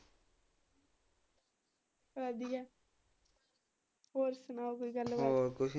ਵਧੀਆਂ ਹੋਰ ਸਣਾਓ ਕੋਈ ਗੱਲ ਬਾਤ ਹੋਰ।